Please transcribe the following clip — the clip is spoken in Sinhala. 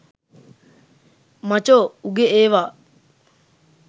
මචෝ උගෙ ඒවා.